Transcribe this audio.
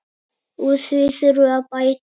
Úr því þurfi að bæta.